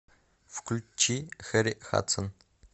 включи хэрри хадсон